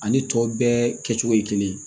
Ani tɔ bɛɛ kɛcogo ye kelen ye